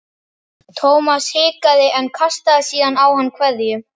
Thomas hikaði en kastaði síðan á hann kveðju.